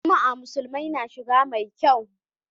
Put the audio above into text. Juma'a musulmai na shiga mai kyau.